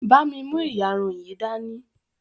bá mí mú iyarun yí dání!